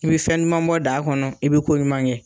I be fɛn duman bɔ daa kɔnɔ i be ko ɲuman kɛ